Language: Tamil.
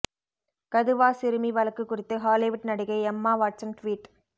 கதுவா சிறுமி வழக்கு குறித்து ஹாலிவுட் நடிகை எம்மா வாட்சன் ட்வீட்